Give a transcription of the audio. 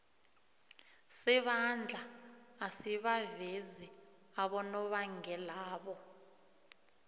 sebandla asibavezi abonobangelabo